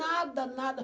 Nada, nada.